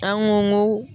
An ko